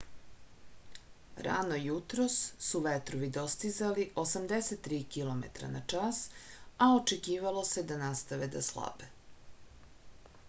rano jutros su vetrovi dostizali 83 km/h a očekivalo se da nastave da slabe